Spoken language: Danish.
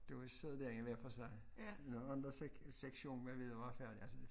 Da vi sad derinde hvad for sig når andre sektionen hvad ved var færdig altså